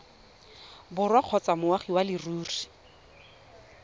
borwa kgotsa moagi wa leruri